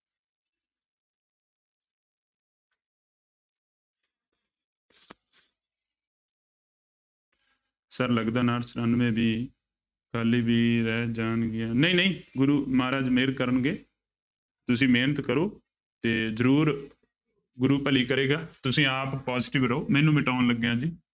Sir ਲੱਗਦਾ ਉਣਾਹਠ ਚੁਰਾਨਵੇਂ ਵੀ ਰਹਿ ਜਾਣਗੀਆਂ ਨਹੀਂ ਨਹੀਂ ਗੁਰੂ ਮਹਾਰਾਜ ਮਿਹਰ ਕਰਨਗੇ, ਤੁਸੀਂ ਮਿਹਨਤ ਕਰੋ ਤੇ ਜ਼ਰੂਰ ਗੁਰੂ ਭਲੀ ਕਰੇਗਾ, ਤੁਸੀਂ ਆਪ positive ਰਹੋ ਮੈਂ ਇਹਨੂੰ ਮਿਟਾਉਣ ਲੱਗਿਆਂ ਜੀ।